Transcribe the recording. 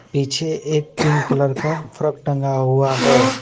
पीछे एक pink colour का फ्रॉक टंगा हुआ है।